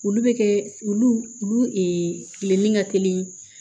Olu bɛ kɛ olu olu kilennen ka teli ye